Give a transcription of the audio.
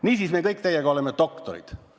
Niisiis, me kõik teiega oleme doktorid.